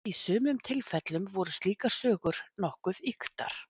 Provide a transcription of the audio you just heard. Í sumum tilfellum voru slíkar sögur nokkuð ýktar.